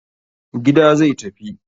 Gida zai tafi.